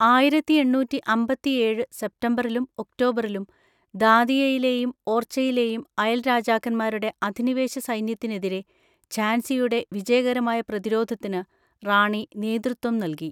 ആയിരത്തി എണ്ണൂറ്റി അമ്പത്തിഏഴ് സെപ്‌റ്റംബറിലും ഒക്‌ടോബറിലും ദാതിയയിലെയും ഓർച്ചയിലെയും അയൽ രാജാക്കന്മാരുടെ അധിനിവേശ സൈന്യത്തിനെതിരെ ഝാൻസിയുടെ വിജയകരമായ പ്രതിരോധത്തിന് റാണി നേതൃത്വം നൽകി.